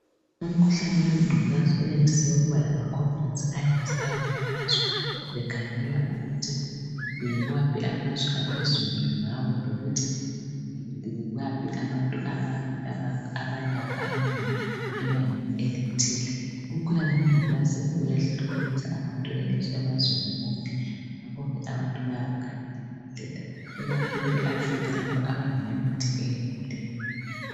Umkhuhlane wengculaza uyandise ukuba lamaConference, ayenziwayo ngamazwe. Bekhangela ukuthi yiwaphi amazwe aphezulu ngawo. Lokuthi yibaphi abantu abalawo abanengi ebangeni elithile. Umkhuhlane wengculaza, uyahlukuluza abantu emazweni wonke. Ngakho ke abantu bayawukhangela kakhulu. Ikakhulu eAfrica lapha, okungalamithi eyaneleyo.